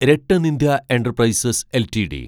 RattanIndia enterprises LTD